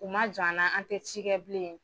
U ma jɔ an na, an te ci kɛ bilen